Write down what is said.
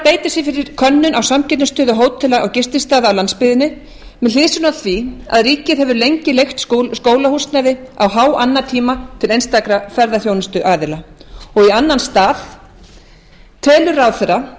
beita sér fyrir könnun á samkeppnisstöðu hótela og gististaða á landsbyggðinni með hliðsjón af því að ríkið hefur lengi leigt skólahúsnæði á háannatíma til einstakra ferðaþjónustuaðila annar telur ráðherra